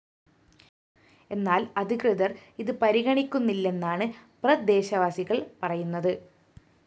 എന്നാല്‍ അധികൃതര്‍ ഇത് പരിഗണിക്കുന്നില്ലെന്നാണ് പ്രദേശവാസികള്‍ പറയുന്നത്